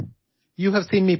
নমস্কাৰ মই বিশ্বনাথন আনন্দ